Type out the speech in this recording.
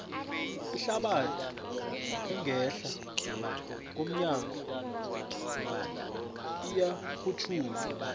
ihlabathi engehla komnyago iyarhutjhulwa